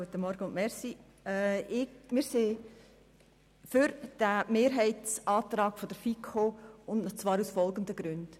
Wir folgen dem Mehrheitsantrag der FiKo aus folgenden Gründen: